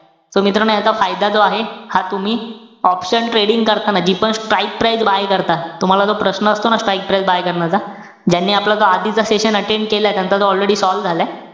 So मित्रांनो याचा फायदा जो आहे, हा तुम्ही option trading करत असताना, जीपण strike price buy करता. तुम्हाला जो प्रश्न असतो ना strike price buy करण्याचा. ज्यांनी आपला तो आधीच session attend केलाय. त्यांचा तो already solve झालाय.